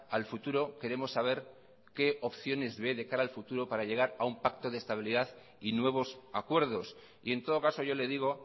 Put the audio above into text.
al futuro queremos saber qué opciones ve de cara al futuro para llegar a un pacto de estabilidad y nuevos acuerdos y en todo caso yo le digo